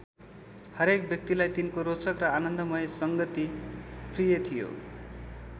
हरेक व्यक्तिलाई तिनको रोचक र आनन्दमय सङ्गति प्रिय थियो।